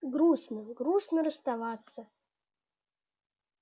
грустно грустно расставаться